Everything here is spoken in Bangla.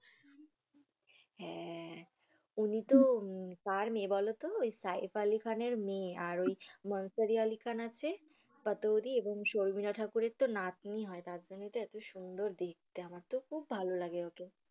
হ্যা উনি তো কার মেয়ে বল তো? ঐ সাইফ আলি খানের মেয়ে আর ওই নওসারী আলি খান আছে পতরি এবং সরমিল ঠাকুরের নাতনি হয় তারপরেও তো এত সুন্দর দেখতে আমার তো খুব ভালো লাগে ওকে।